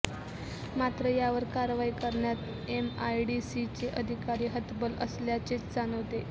मात्र यावर कारवाई करण्यात एमआयडीसीचे अधिकारी हतबल असल्याचेच जाणवते